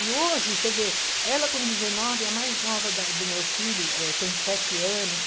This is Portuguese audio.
E hoje, você vê, ela com dezenove, a mais nova da do meu filho, eh, tem sete anos.